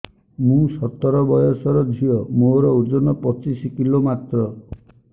ମୁଁ ସତର ବୟସର ଝିଅ ମୋର ଓଜନ ପଚିଶି କିଲୋ ମାତ୍ର